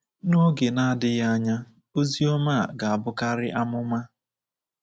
N’oge na-adịghị anya, ozi ọma a ga-abụkari amụma.